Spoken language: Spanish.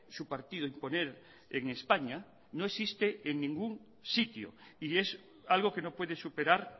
su partido imponer en españa no existe en ningún sitio y es algo que no puede superar